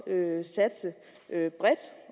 satse bredt